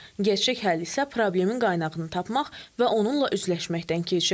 Gerçək həll isə problemin qaynağını tapmaq və onunla üzləşməkdən keçir.